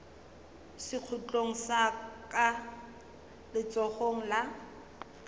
sekhutlong sa ka letsogong la